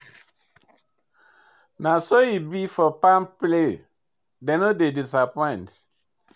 Na so e be for palmpay, dem no dey disappoint.